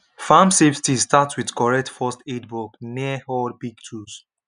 farm safety start with correct first aid box near all big tools